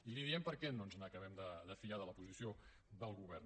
i li diem per què no ens acabem de fiar de la posició del govern